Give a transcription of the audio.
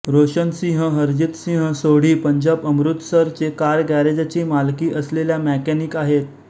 रोशनसिंह हरजितसिंह सोढी पंजाब अमृतसरचे कार गॅरेजची मालकी असलेल्या मॅकॅनिक आहेत